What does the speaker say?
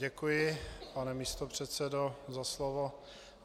Děkuji, pane místopředsedo, za slovo.